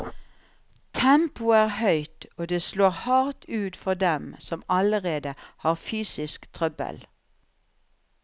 Tempoet er høyt, og det slår hardt ut for dem som allerede har fysisk trøbbel.